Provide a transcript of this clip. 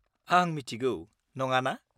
-आं मिथिगौ, नङाना?